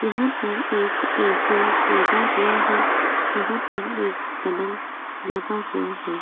यहां पर एक ऐ.सी. लगा हुआ है यहां पर एक पलंग लगा हुआ है।